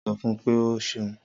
Sọ fún pé o ṣeun